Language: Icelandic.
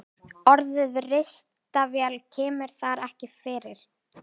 Orðið ristavél kemur þar ekki fyrir.